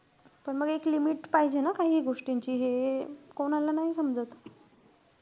पण मग एक limit पाहिजे ना काहीही गोष्टींची. हे कोणाला नाई समजत.